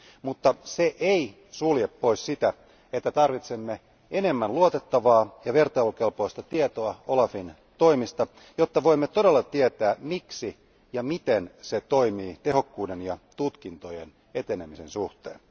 Mutta se ei sulje pois sitä, että tarvitsemme enemmän luotettavaa ja vertailukelpoista tietoa OLAFin toimista, jotta voimme todella tietää, miksi ja miten se toimii tehokkuuden ja tutkintojen etenemisen suhteen.